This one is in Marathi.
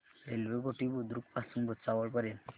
रेल्वे घोटी बुद्रुक पासून भुसावळ पर्यंत